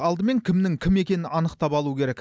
алдымен кімнің кім екенін анықтап алу керек